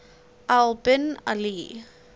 al bin ali